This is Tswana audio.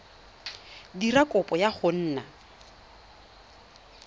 dira kopo ya go nna